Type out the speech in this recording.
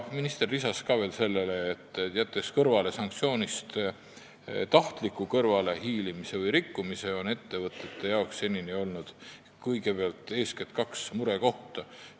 Minister märkis, et jättes kõrvale sanktsioonidest tahtliku kõrvalehiilimise või nende rikkumise, on ettevõtete jaoks seni olnud eeskätt kaks murekohta.